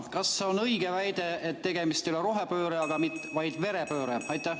Kas on õige väide, et tegemist ei ole rohepöörde, vaid verepöördega?